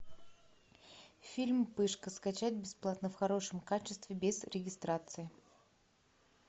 фильм пышка скачать бесплатно в хорошем качестве без регистрации